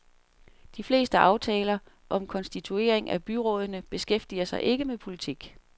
De fleste aftaler om konstituering af byrådene beskæftiger sig ikke med politik.